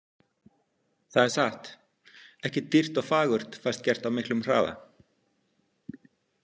Það er satt, ekkert dýrt og fagurt fæst gert á miklum hraða.